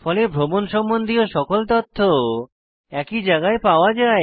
ফলে ভ্রমণ সম্বন্ধীয় সকল তথ্য একই জায়গায় পাওয়া যায়